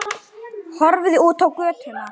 Horfði út á götuna.